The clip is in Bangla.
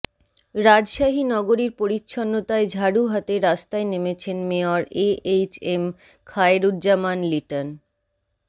রাজশাহী নগরীর পরিচ্ছন্নতায় ঝাড়ু হাতে রাস্তায় নেমেছেন মেয়র এএইচএম খায়রুজ্জামান লিটন